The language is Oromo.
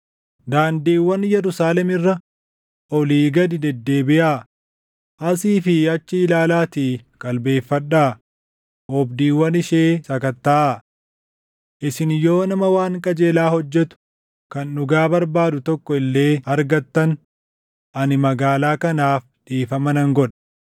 “Daandiiwwan Yerusaalem irra olii gadi deddeebiʼaa; asii fi achi ilaalaatii qalbeeffadhaa; oobdiiwwan ishee sakattaʼaa. Isin yoo nama waan qajeelaa hojjetu, kan dhugaa barbaadu tokko illee argattan ani magaalaa kanaaf dhiifama nan godha.